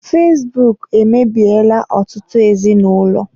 Fesbụụk emebiela ọtụtụ ezinụlọ.